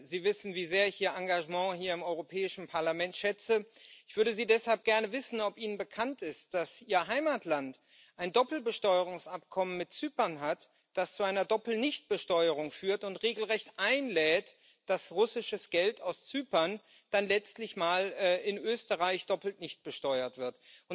Sie wissen, wie sehr ich Ihr Engagement hier im Europäischen Parlament schätze. Ich würde deshalb gerne wissen, ob Ihnen bekannt ist, dass Ihr Heimatland ein Doppelbesteuerungsabkommen mit Zypern hat, das zu einer Doppel Nichtbesteuerung führt und regelrecht dazu einlädt, dass russisches Geld aus Zypern dann letztlich mal in Österreich doppelt nicht besteuert wird.